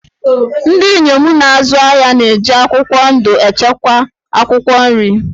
Ndị inyom na-azụ ahịa na-eji akwụkwọ ndụ echekwa akwụkwọ nri